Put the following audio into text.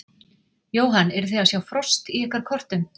Jóhann: Eruð þið að sjá frost í ykkar kortum?